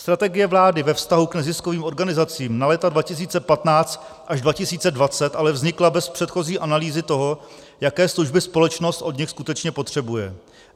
Strategie vlády ve vztahu k neziskovým organizacím na léta 2015 až 2020 ale vznikla bez předchozí analýzy toho, jaké služby společnost od nich skutečně potřebuje.